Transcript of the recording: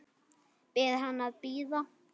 Biður hann að bíða.